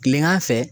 Kilegan fɛ